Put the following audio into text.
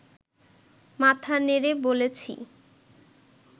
মাথা নেড়ে বলেছি